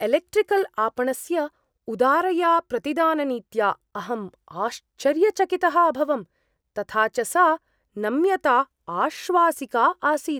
Electrical आपणस्य उदारया प्रतिदाननीत्या अहम् आश्चर्यचकितः अभवं, तथा च सा नम्यता आश्वासिका आसीत्।